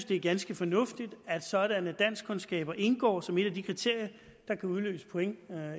det er ganske fornuftigt at sådanne danskkundskaber indgår som et af de kriterier der kan udløse point